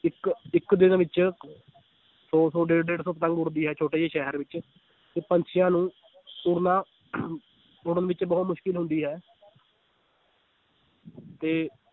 ਇੱਕ ਇੱਕ ਦਿਨ ਵਿੱਚ ਸੌ ਸੌ ਡੇਢ ਡੇਢ ਸੌ ਪਤੰਗ ਉੱਡਦੀ ਹੈ ਛੋਟੇ ਜਿਹੇ ਸ਼ਹਿਰ ਵਿੱਚ ਤੇ ਪੰਛੀਆਂ ਨੂੰ ਉੱਡਣਾ ਉੱਡਣ ਵਿੱਚ ਬਹੁ ਤ ਮੁਸ਼ਕਲ ਹੁੰਦੀ ਹੈ ਤੇ